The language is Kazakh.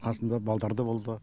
қасында балдар да болды